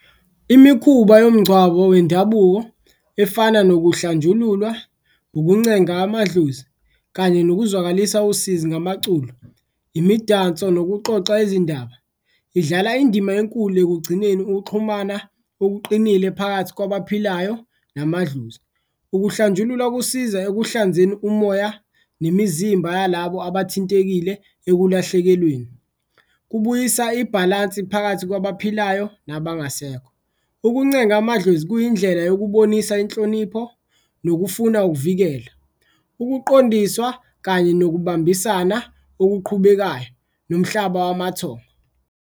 Imikhuba yomngcwabo wendabuko efana nokuhlanjululwa, ukuncenga amadlozi kanye nokuzwakalisa usizi ngamaculo, imidanso, nokuxoxa izindaba idlala indima enkulu ekugcineni ukuxhumana okuqinile phakathi kwabaphilayo namadlozi. Ukuhlanjululwa kusiza ekuhlanzeni umoya nemzimba yalabo abathintekile ekulahlekelweni, kubuyisa ibhalansi phakathi kwabaphilayo nabangasekho, ukuncenga amadlozi kuyindlela yokubonisa inhlonipho nokufuna, ukuvikela. Ukuqondiswa kanye nokubambisana okuqhubekayo nomhlaba wamathongo.